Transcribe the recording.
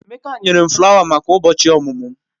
Emeka nyere m flawa maka ụbọchị ọmụmụ m.